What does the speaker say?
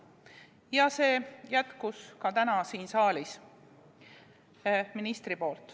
Ja seda jätkas täna ka siin saalis minister.